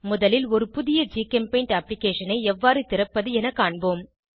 முதலில் ஒரு புதிய ஜிகெம்பெய்ண்ட் அப்ளிகேஷனை எவ்வாறு திறப்பது என காண்போம்